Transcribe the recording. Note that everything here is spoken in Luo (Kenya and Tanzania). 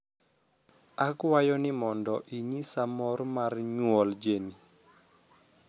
akwayo ni mondo inyisa mor mar nyuol Jeni